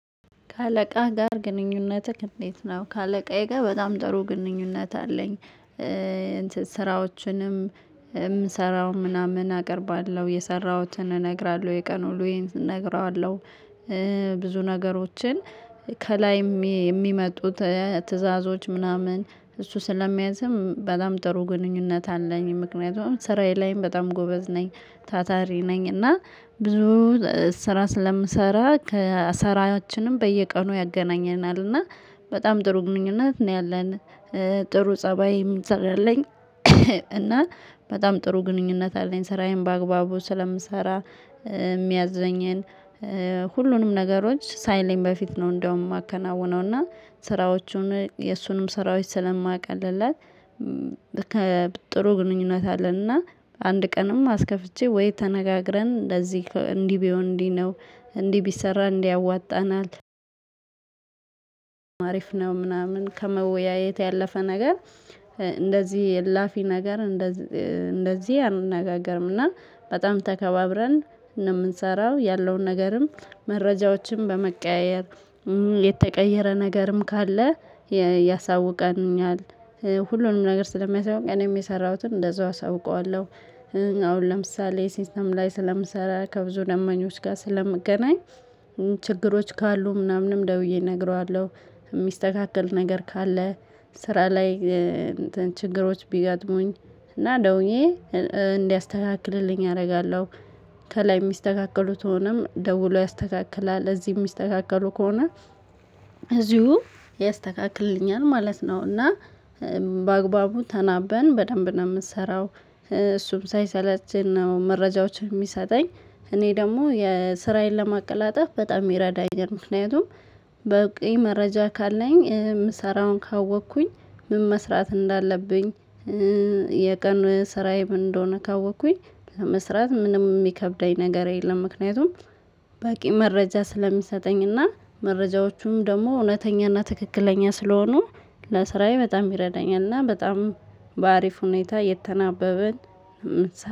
ከአለቃ ጋር ግንኙነትህ እንዴት ነው? ከአለቃዬ ጋር በጣም ጥሩ ግንኙነት አለኝ። ስራዎችንም የምሰራው ምናምን አቀርባለሁ የሰራሁትን እነግራለሁ የቀኑ ዉሎዬን እንነግረዋለሁ። ብዙ ነገሮችን ከላይም የሚመጡት ትዕዛዞች ምናምን እሱ ስለሚያዝም በላም ጥሩ ግንኙነት አለኝ። ምክንያቱም ስራዬ ላይም በጣም ጎበዝ ነኝ። ታታሪ ነኝ እና ብዙ ስራዎችንም የምሰራው ምናምን አቀርባለሁ የሰራሁትን እነግራለሁ የቀኑ ዉሎዬን እንነግረዋለሁ። ብዙ ነገሮችን ከላይም የሚመጡት ትዕዛዞች ምናምን እሱ ስለሚያዝም በላም ጥሩ ግንኙነት አለኝ። ምክንያቱም ስራዬ ላይም በጣም ጎበዝ ነኝ ታታሪ ነኝ። እና ብዙ ስራ ስለምሰራ ከሰራችንም በየቀኑ ያገናኘናል እና በጣም ጥሩ ምኞት ነው። ያለን ጥሩ ፀባይ የምንሰራለኝ። እና በጣም ጥሩ ግንኙነት አለኝ። ስራዬን በአግባቡ ስለምሰራ የሚያዘኘን ሁሉንም ነገሮች ሳይለኝ በፊት ነው። እንደውም የማከናውነው እና ስራዎቹን የእሱንም ስራዎች ስለቀልለትለለት ያሳውቀኛል። ሁሉንም ነገር ስለሚያሳውቅኝ እኔም የሰራሁትን እንደዛው አሳውቀዋለሁ። አሁን ለምሳሌ ሲስተም ላይ ስለምሰራ ከብዙ ደማኞች ጋር ስለምገናኝ። ችግሮች ካሉ ምናምንም ደውዬ እነግረዋለሁ። ሚስተካከል ነገር ካለ ስራ ላይ ችግሮች ቢጋጥሙኝ እና ደውዬ እንዲያስተካክልልኝ አደርጋለሁ። ከላይ የሚስተካከሉትም ደውሎ ያስተካክላል እዚህ የሚስተካከሉ ከሆነ እዚሁ ያስተካክልልኛል ማለት ነው። እና በአግባቡ ተናበን በደንብ ነው ምትሰራው እሱም ሳይሰለቸኝ ነው መረጃዎችን የሚሰጠኝ። እኔ ደግሞ የስራዬን ለማቀላጠፍ በጣም ይረዳኛል። ምክንያቱም በቂ መረጃ ካለኝ ምሰራውን ካወቅኩኝ ምን መስራት እንዳለብኝ። የቀኑ ስራዬ ምን እንደሆነ ካወቅኩኝ ለመስራት ምንም ሚከብደኝ ነገር የለም። ምክንያቱም በቂ መረጃ ስለሚሰጠኝና መረጃዎቹም ደግሞ እውነተኛና ትክክለኛ ስለሆኑ ለስራዬ በጣም ይረዳኛል። እና በጣም በአሪፍ ሁኔታ የተናበብን ምንሰራው